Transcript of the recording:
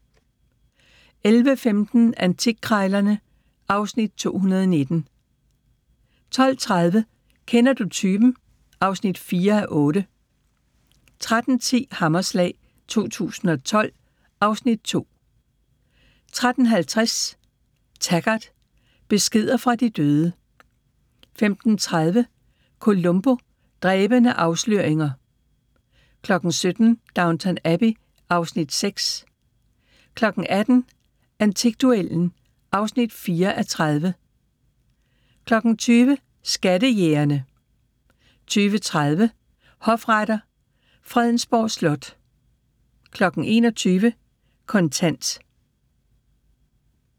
11:15: Antikkrejlerne (Afs. 219) 12:30: Kender du typen? (4:8) 13:10: Hammerslag 2012 (Afs. 2) 13:50: Taggart: Beskeder fra de døde 15:30: Columbo: Dræbende afsløringer 17:00: Downton Abbey (Afs. 6) 18:00: Antikduellen (4:30) 20:00: Skattejægerne 20:30: Hofretter: Fredensborg Slot 21:00: Kontant